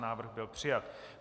Návrh byl přijat.